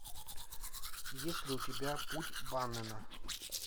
есть ли у тебя путь баннена